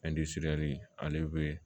ale be